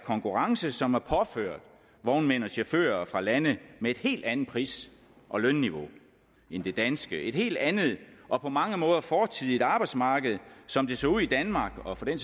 konkurrence som er påført vognmænd og chauffører fra lande med et helt andet pris og lønniveau end det danske et helt andet og på mange måder fortidigt arbejdsmarked som det så ud i danmark og for den